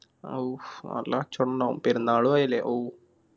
ഔഫ്‌ നല്ല കച്ചവടുണ്ടാകും പെരുന്നാളു ആയില്ലേ ഔ